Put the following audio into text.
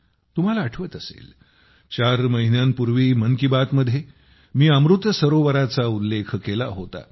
तुम्हाला आठवत असेल चार महिन्यांपूर्वी मन की बातमध्ये मी अमृत सरोवराचा उल्लेख केला होता